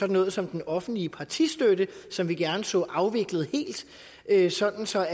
noget som den offentlige partistøtte som vi gerne så afviklet helt sådan så